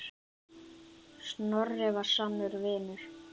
Snorri var sannur vinur.